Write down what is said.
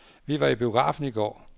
Vi var i biografen i går.